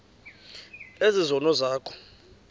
ezi zono zakho